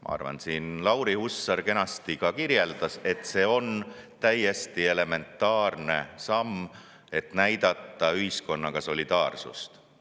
Ma arvan ja ka Lauri Hussar siin kenasti kirjeldas, et see on täiesti elementaarne samm, et näidata üles solidaarsust ühiskonnaga.